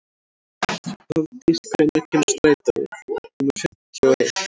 Hafdís, hvenær kemur strætó númer fimmtíu og eitt?